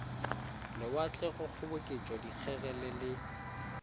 lewatle go kgoboketša dikgegele le